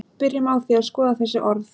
byrjum á því að skoða þessi orð